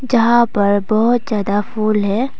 यहां पर बहुत ज्यादा फूल है।